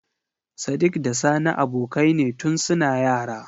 Sadik da sani abokai ne tun suna yara.